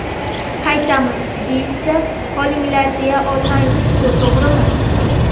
Qaytamiz, deyishsa, qolinglar deya olmaymiz-ku, to‘g‘rimi?